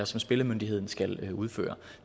som spillemyndigheden skal udføre